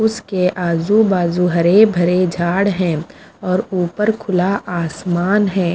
उसके आजू बाजू हरे भरे झाड़ हैं और ऊपर खुला आसमान है।